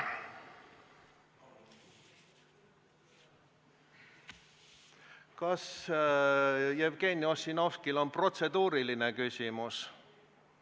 Kas Jevgeni Ossinovskil on protseduuriline küsimus?